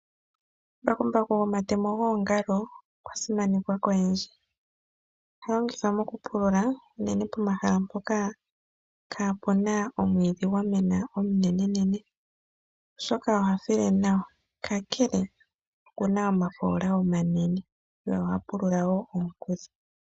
Mbakumbaku gomatemo gongalo okwa simanekwa koyendji. Oha longithwa mokupulula uunene pomahala mpoka kapuna omwiidhi gwamena omunene, oshoka oha file nawa, kakele okuna omafola omanene ye oha pulula wo onghudhu.